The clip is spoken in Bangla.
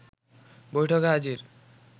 বৈঠকে হাজির